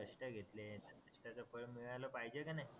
कष्ट घेतले त्या कष्ठाचा फळ मिळाल पाहिजे का नाय